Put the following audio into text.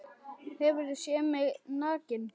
Hefurðu séð mig nakinn?